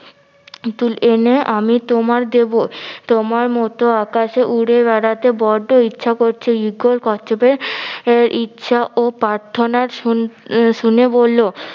তুল এনে আমি তোমার দিব তোমার মত আকাশে উড়ে বেড়াতে বড্ডো ইচ্ছে করছে ঈগল কচ্ছপের ইচ্ছা ও প্রাথর্না শুন~ শুনে বললো